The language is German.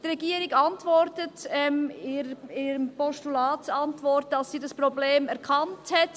Die Regierung sagt in ihrer Antwort auf das Postulat, dass sie dieses Problem erkannt hat.